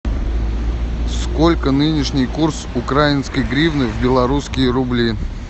сколько нынешний курс украинской гривны в белорусские рубли